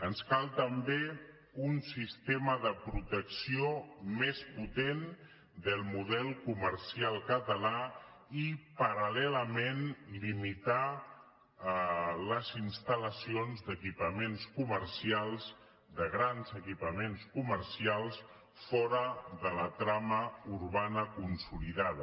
ens cal també un sistema de protecció més potent del model comercial català i paral·lelament limitar les instal·lacions d’equipaments comercials de grans equipaments comercials fora de la trama urbana consolidada